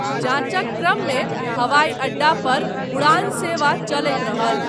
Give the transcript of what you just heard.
जाँचक क्रममे हवाइ अड्डा पर उड़ान सेवा चलैत रहल।